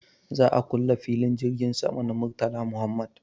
Za a kule filin jirgin sama na Murtala Muhammad.